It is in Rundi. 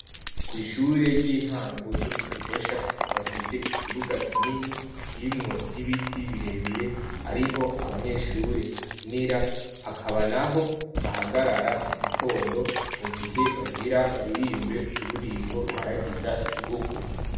Kw'ishure ry'intango ryo mu gihosha bafise ikibuga kinini kirimwo n'ibiti birebire ariho abanyeshure bakinira hakaba naho bahagarara mu gitondo mu gihe bagira baririmbe ururirimbo ruhayagiza igihugu.